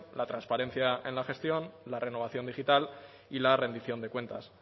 la transparencia en la gestión la renovación digital y la rendición de cuentas